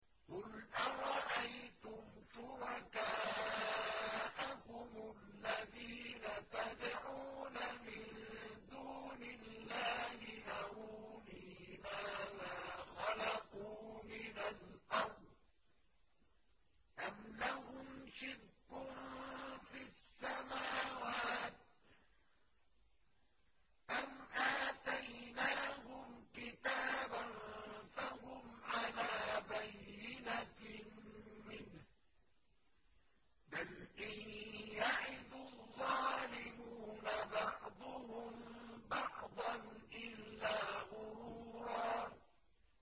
قُلْ أَرَأَيْتُمْ شُرَكَاءَكُمُ الَّذِينَ تَدْعُونَ مِن دُونِ اللَّهِ أَرُونِي مَاذَا خَلَقُوا مِنَ الْأَرْضِ أَمْ لَهُمْ شِرْكٌ فِي السَّمَاوَاتِ أَمْ آتَيْنَاهُمْ كِتَابًا فَهُمْ عَلَىٰ بَيِّنَتٍ مِّنْهُ ۚ بَلْ إِن يَعِدُ الظَّالِمُونَ بَعْضُهُم بَعْضًا إِلَّا غُرُورًا